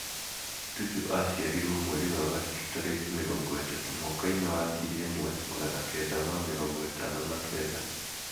Tuju aaciarirũo mweri wa gatatũ taraki 30,mwaka-inĩ wa 1959.